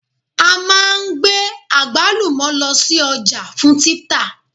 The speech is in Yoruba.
A máa gbé àgbálùmọ̀ lọ sí ọjà fún títà